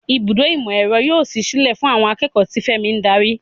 Ibùdó ìmọ̀-ẹ̀rọ yóò ṣí sílẹ̀ fún àwọn akẹ́kọ̀ọ́, tí Femi ń darí.